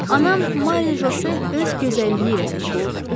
Anam Mari Josel öz gözəlliyi ilə seçilirdi.